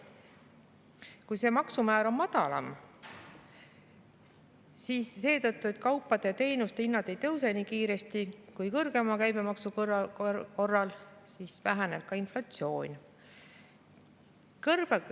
Kui see maksumäär on madalam, siis kaupade ja teenuste hinnad ei tõuse nii kiiresti kui kõrgema käibemaksu korral, väheneb ka inflatsioon.